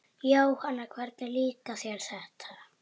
Jóhanna: Hvernig líkar þér þetta?